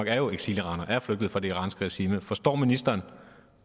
er eksiliranere er flygtet fra det iranske regime forstår ministeren